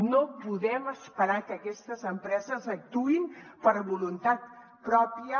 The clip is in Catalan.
no podem esperar que aquestes empreses actuïn per voluntat pròpia